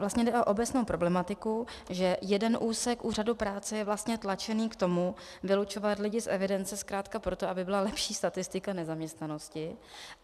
Vlastně jde o obecnou problematiku, že jeden úsek úřadu práce je vlastně tlačen k tomu vylučovat lidi z evidence zkrátka proto, aby byla lepší statistika nezaměstnanosti.